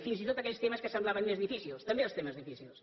fins i tot aquells temes que semblaven més difícils també els temes difícils